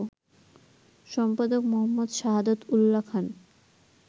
সম্পাদক মো. সাহাদাত উল্যা খান